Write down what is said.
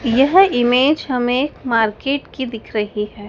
यह इमेज हमें मार्केट की दिख रही है।